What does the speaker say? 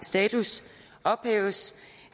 status ophæves